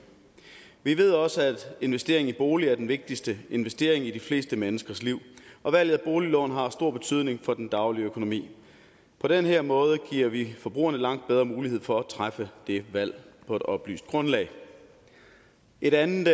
vi ved også at investering i en bolig er den vigtigste investering i de fleste menneskers liv og valget af boliglån har stor betydning for den daglige økonomi på den her måde giver vi forbrugerne langt bedre mulighed for at træffe det valg på et oplyst grundlag et andet